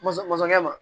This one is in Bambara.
Masakɛ masakɛ ma